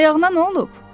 Ayağına nə olub?